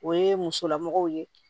O ye musolamɔgɔw ye